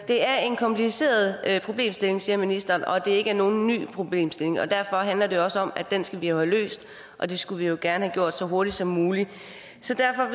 det er en kompliceret problemstilling siger ministeren og det er ikke nogen ny problemstilling og derfor handler det jo også om at den skal vi have løst og det skulle vi jo gerne have gjort så hurtigt som muligt så derfor